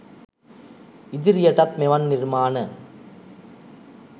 ඉදිරියටත් මෙවන් නිර්මාණ